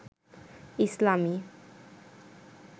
ইসলামী